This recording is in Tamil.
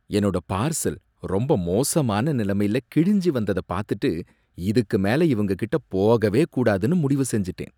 என்னோட பார்சல் ரொம்ப மோசமான நிலமையில கிழிஞ்சு வந்ததபாத்துட்டு, இதுக்கு மேல இவங்ககிட்ட போகவே கூடாதுனு முடிவுசெஞ்சுட்டேன்.